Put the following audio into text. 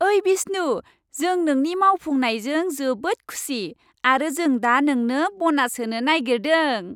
ओइ विष्णु, जों नोंनि मावफुंनायजों जोबोद खुसि आरो जों दा नोंनो ब'नास होनो नागिरदों।